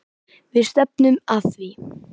Við stefnum að því.